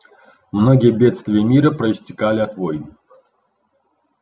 многие бедствия мира проистекали от войн